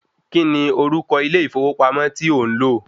Kíni orúkọ ilé ìfowópamọ́ ti ò ń lò?